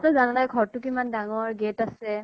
জানায়ে ঘৰ টো কিমান ডাঙৰ, gate আছে